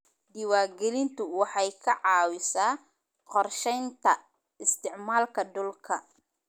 Diiwaangelintu waxay ka caawisaa qorshaynta isticmaalka dhulka.